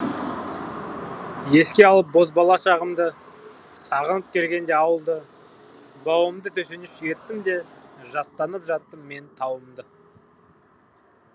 еске алып бозбала шағымды сағынып келгенде ауылды бауымды төсеніш еттім де жастанып жаттым мен тауымды